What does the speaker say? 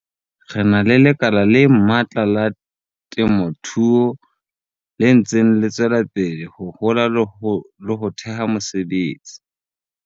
Re na le lekala le matla la temothuo le ntseng le tswela pele ho hola le ho theha mesebetsi.